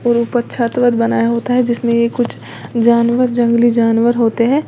और ऊपर छत वत बनाया होता है जिसमें ये कुछ जानवर जंगली जानवर होते हैं।